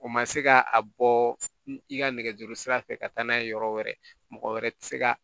O ma se ka a bɔ i ka nɛgɛjuru sira fɛ ka taa n'a ye yɔrɔ wɛrɛ mɔgɔ wɛrɛ tɛ se ka